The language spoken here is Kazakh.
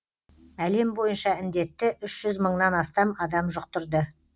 әлем бойынша індетті үш жүз мыңнан астам адам жұқтырды